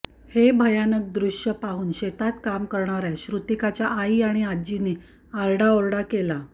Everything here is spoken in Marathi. हे भयानक दृश्य पाहून शेतात काम करणाऱ्या श्रुतीकाच्या आई आणि आज्जीने आरडाओरडा केला